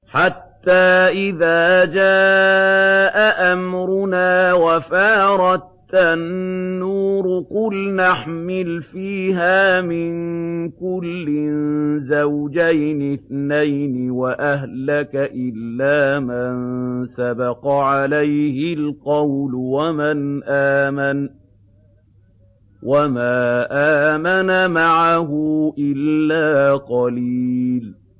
حَتَّىٰ إِذَا جَاءَ أَمْرُنَا وَفَارَ التَّنُّورُ قُلْنَا احْمِلْ فِيهَا مِن كُلٍّ زَوْجَيْنِ اثْنَيْنِ وَأَهْلَكَ إِلَّا مَن سَبَقَ عَلَيْهِ الْقَوْلُ وَمَنْ آمَنَ ۚ وَمَا آمَنَ مَعَهُ إِلَّا قَلِيلٌ